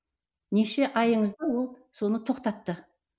неше айыңызды ол соны тоқтатты